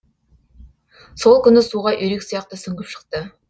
сол күні суға үйрек сияқты сүңгіп шықты